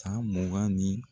San mugan ni